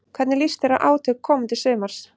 Hvernig líst þér á átök komandi sumars?